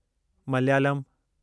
Malayalam